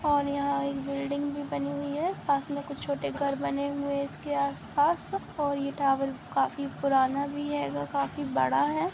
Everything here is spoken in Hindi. और यहाँ एक बिल्डिंग भी बनी हुई है पास में कुछ छोटे घर बने हुए हैं इसके आस-पास और ये टॉवर काफी पुराना है और काफी बड़ा है।